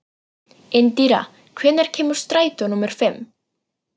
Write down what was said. Indíra, hvenær kemur strætó númer fimm?